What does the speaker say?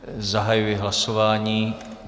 Zahajuji hlasování.